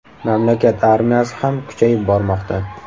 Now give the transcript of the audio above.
Mamlakat armiyasi ham kuchayib bormoqda.